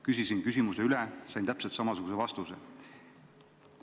Küsisin küsimuse üle, sain täpselt samasuguse vastuse.